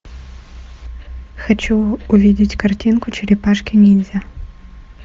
хочу увидеть картинку черепашки ниндзя